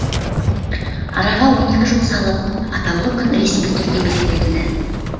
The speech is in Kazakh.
араға он екі жыл салып атаулы күн ресми түрде белгіленді